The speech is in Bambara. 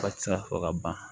Ba ti se ka fɔ ka ban